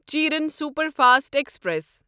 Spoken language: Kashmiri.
Cheran superfast express